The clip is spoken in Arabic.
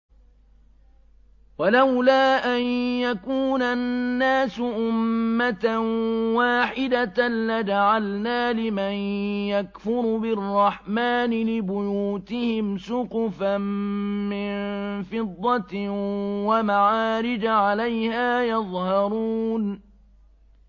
وَلَوْلَا أَن يَكُونَ النَّاسُ أُمَّةً وَاحِدَةً لَّجَعَلْنَا لِمَن يَكْفُرُ بِالرَّحْمَٰنِ لِبُيُوتِهِمْ سُقُفًا مِّن فِضَّةٍ وَمَعَارِجَ عَلَيْهَا يَظْهَرُونَ